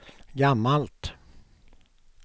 gammalt